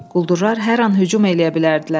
Quldurlar hər an hücum eləyə bilərdilər.